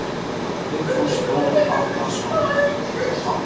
Vigfús Þór Árnason, prestur í Grafarvogskirkju: Hvað heitir barnið?